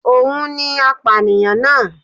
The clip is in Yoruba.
Òun ni apànìyàn náà